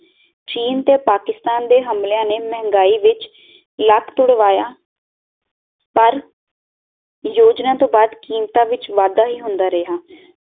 ਚੀਨ ਤੇ ਪਾਕਿਸਤਾਨ ਦੇ ਹਮਲਿਆਂ ਨੇ ਮਹਿੰਗਾਈ ਵਿਚ ਲੱਕ ਤੁੜਵਾਇਆ ਪਰ ਯੋਜਨਾ ਤੋਂ ਬਾਦ ਕੀਮਤਾਂ ਵਿਚ ਵਾਧਾ ਹੀ ਹੁੰਦਾ ਰਿਹਾ